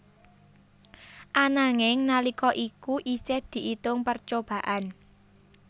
Ananging nalika iku isih diitung percobaan